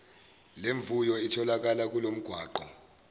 lemvuyo itholakala kulomgwaqo